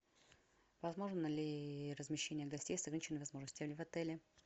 возможно ли размещение гостей с ограниченными возможностями в отеле